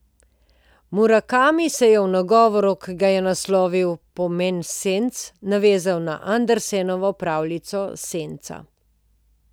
Murakami se je v nagovoru, ki ga je naslovil Pomen senc navezal na Andersenovo pravljico Senca.